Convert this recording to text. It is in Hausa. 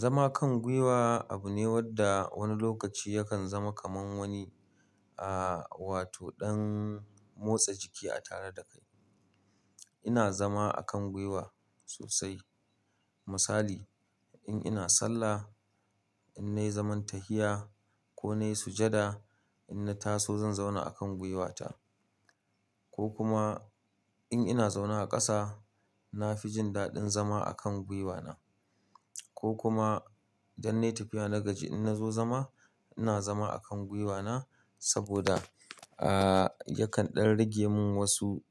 Zama kan gwuiwa, abu ne wanda wani lokaci ya kan zama kamar wani, ah wato, ɗan motsa jiki a tare da kai ina zama a kan gwiwa sosai. Misali in ina sallah, in na yi zaman tahiya ko na yi sujjada, in na taso zan zauna a kan gwiwata ko kuma in ina zaune a ƙasa, na fi jin daɗin zama a kan gwiwana ko kuma idan na yi tafiya na gaji in na zo zama, ina zama a kan gwiwana saboda, ah, yakan ɗan rage mun wasu